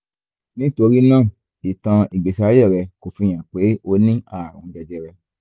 nítorí náà ìtàn ìgbésí ayé rẹ kò fi hàn pé o ní ààrùn jẹjẹrẹ